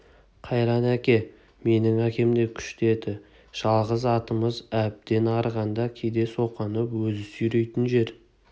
қайран әке менің әкем де күшті еді жалғыз атымыз әбден арығанда кейде соқаны өзі сүйрейтін жер